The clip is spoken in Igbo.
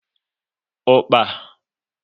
Ukpa